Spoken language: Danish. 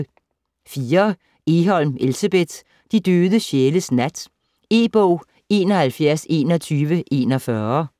Egholm, Elsebeth: De døde sjæles nat E-bog 712141